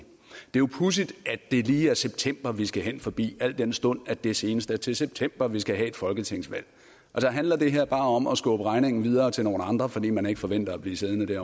jo pudsigt at det lige er september vi skal hen forbi al den stund at det senest er til september vi skal have et folketingsvalg handler det her bare om at skubbe regningen videre til nogle andre fordi man ikke forventer at blive siddende